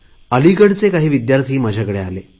अलिगडचे काही विद्यार्थी माझ्याकडे आले